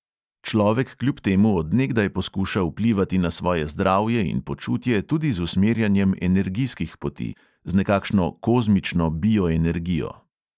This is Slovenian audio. Človek kljub temu od nekdaj poskuša vplivati na svoje zdravje in počutje tudi z usmerjanjem energijskih poti – z nekakšno kozmično bioenergijo.